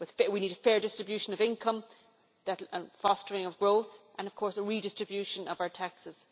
We need a fair distribution of income, fostering of growth and, of course, a redistribution of our taxes.